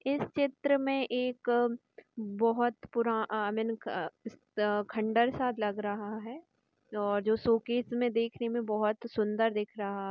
इस चित्र में एक बोहोत पूरा आई मीन अ अ खण्डर सा लग रहा है और जो शोकेस में देखने में बहुत सुन्दर दिख रहा है।